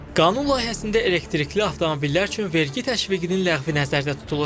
Qanun layihəsində elektrikli avtomobillər üçün vergi təşviqinin ləğvi nəzərdə tutulur.